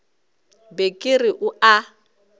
be ke re o a